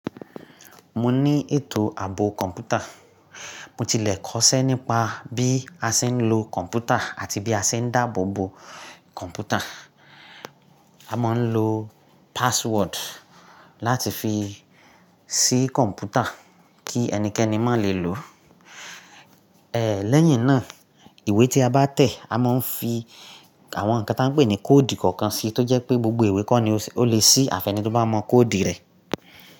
Mo ní ètò ààbò kọ̀ǹpútà. Mo tilẹ̀ kọ́ṣẹ́ nípa bí a ṣe ń lo kọ̀ǹpútà àti bí a ṣe ń dáàbò bo kọ̀ǹpútà. A máa ń lo password láti fi ṣí kọ̀ǹpútà kí ẹnikẹ́ni má lè lò ó. Lẹ́yìn náà, ìwé tí a bá tẹ̀, a máa ń fi Awọn nǹkan tá a ń pè ní kóòdi kookan síi, tó jẹ́ pé gbogbo ìwé kọ́ ni ó lè ṣí, àfi ẹni tó bá mọ kóòdi rẹ̀.